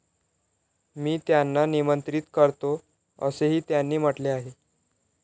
मी त्यांना निमंत्रित करतो, असेही त्यांनी म्हटले आहे.